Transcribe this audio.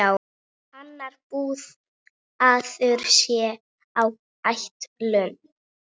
Annar búnaður sé á áætlun.